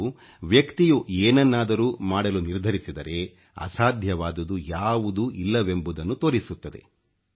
ಇದು ವ್ಯಕ್ತಿಯು ಏನನ್ನಾದರೂ ಮಾಡಲು ನಿರ್ಧರಿಸಿದರೆ ಅಸಾಧ್ಯವಾದುದು ಯಾವುದೂ ಇಲ್ಲವೆಂಬುವುದನ್ನು ತೋರಿಸುತ್ತದೆ